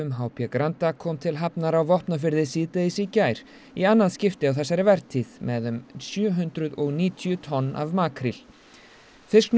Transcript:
h b Granda kom til hafnar á Vopnafirði síðdegis í gær í annað skipti á þessari vertíð með um sjö hundruð og níutíu tonn af makríl fisknum